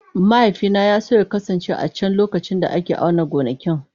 Mahaifina ya so ya kasance a can lokacin da ake auna gonakin.